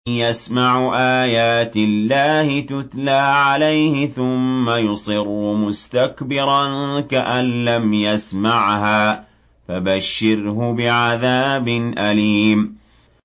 يَسْمَعُ آيَاتِ اللَّهِ تُتْلَىٰ عَلَيْهِ ثُمَّ يُصِرُّ مُسْتَكْبِرًا كَأَن لَّمْ يَسْمَعْهَا ۖ فَبَشِّرْهُ بِعَذَابٍ أَلِيمٍ